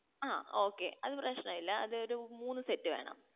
ആ okay അത് പ്രശ്‌നനുല്ലാ അതൊരു മൂന്ന് set വേണം